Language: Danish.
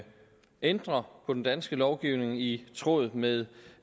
ændre på den danske lovgivning i tråd med